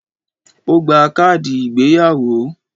O gba káàdì ìgbéyàwó